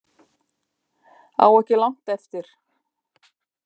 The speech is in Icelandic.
Á ekki langt eftir